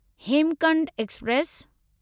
Hemkunt express